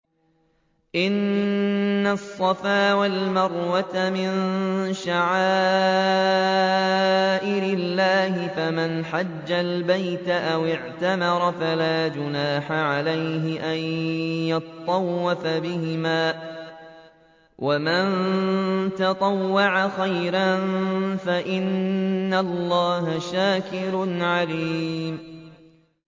۞ إِنَّ الصَّفَا وَالْمَرْوَةَ مِن شَعَائِرِ اللَّهِ ۖ فَمَنْ حَجَّ الْبَيْتَ أَوِ اعْتَمَرَ فَلَا جُنَاحَ عَلَيْهِ أَن يَطَّوَّفَ بِهِمَا ۚ وَمَن تَطَوَّعَ خَيْرًا فَإِنَّ اللَّهَ شَاكِرٌ عَلِيمٌ